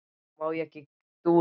Mér kom ekki dúr á auga.